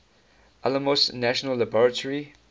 alamos national laboratory